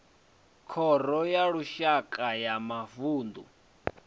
khoro ya lushaka ya mavunḓu